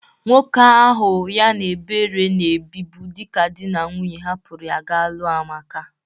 Nwoke ahụ ya na Ebere na-ebibu dịka dị na nwunye hapụrụ ya ga lụa Amaka.